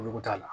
Olu kun t'a la